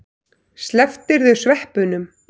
Slepptirðu sveppunum?